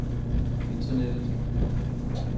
internettet